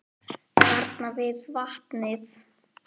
Þarna við vatnið.